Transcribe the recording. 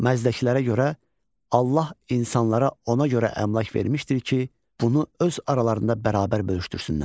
Məzdəkilərə görə Allah insanlara ona görə əmlak vermişdir ki, bunu öz aralarında bərabər bölüşdürsünlər.